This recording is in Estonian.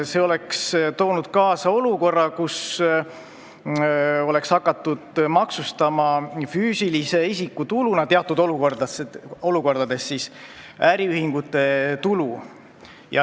See oleks toonud kaasa selle, et teatud olukordades oleks hakatud füüsilise isiku tuluna maksustama äriühingute tulu.